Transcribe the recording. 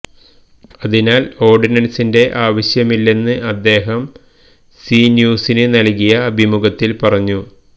അതിനാല് ഓര്ഡിനന്സിന്റെ ആവശ്യമില്ലെന്ന് അദ്ദേഹം സീ ന്യൂസിന് നല്കിയ അഭിമുഖത്തില് പറഞ്ഞു